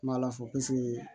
Ma ala fo piseke